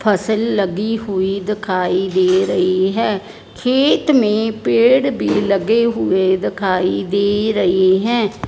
फसल लगी हुई दिखाई दे रही है खेत में पेड़ भी लगे हुए दिखाई दे रही है।